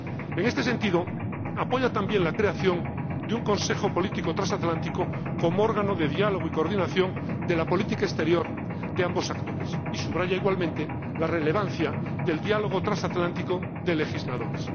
En este sentido, también apoya la creación de un Consejo Político Transatlántico como órgano de diálogo y coordinación de la política exterior de ambos actores y subraya, igualmente, la relevancia del Diálogo Transatlántico de Legisladores.